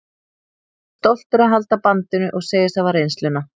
Hann er stoltur að halda bandinu og segist hafa reynsluna.